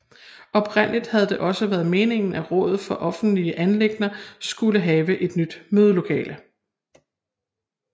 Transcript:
Oprindeligt havde det også været meningen at rådet for offentlige anliggender skulle have et nyt mødelokale